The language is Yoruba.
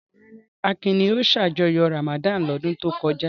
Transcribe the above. Rárá, Akin ni ó ṣàjọyọ̀ Ramadan lọ́dún tó kọjá.